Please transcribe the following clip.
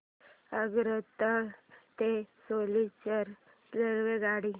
आगरतळा ते सिलचर रेल्वेगाडी